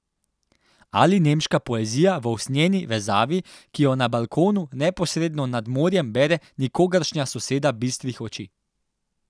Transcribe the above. Ali nemška poezija v usnjeni vezavi, ki jo na balkonu neposredno nad morjem bere nikogaršnja soseda bistrih oči.